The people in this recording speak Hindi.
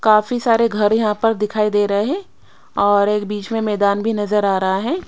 काफी सारे घर यहां पर दिखाई दे रहे है और एक बीच में मैदान भी नजर आ रहा है।